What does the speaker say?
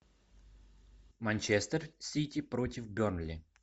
манчестер сити против бернли